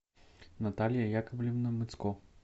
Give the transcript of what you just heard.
наталья яковлевна мыцко